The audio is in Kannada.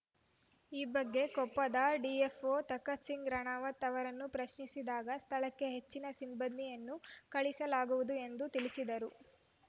ಈ ಬಗ್ಗೆ ಕೊಪ್ಪದ ಡಿಎಫ್‌ಓ ತಕಥ್‌ ಸಿಂಗ್‌ ರಣಾವತ್‌ ಅವರನ್ನು ಪ್ರಶ್ನಿಸಿದಾಗ ಸ್ಥಳಕ್ಕೆ ಹೆಚ್ಚಿನ ಸಿಬ್ಬಂದಿಯನ್ನು ಕಳಿಸಲಾಗುವುದು ಎಂದು ತಿಳಿಸಿದರು